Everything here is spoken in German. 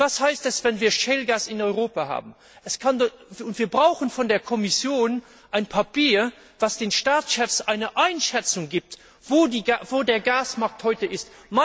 Und was heißt es, wenn wir Shell Gas in Europa haben? Wir brauchen von der Kommission ein Papier, das den Staatschefs eine Einschätzung gibt, wo der Gasmarkt heute ist.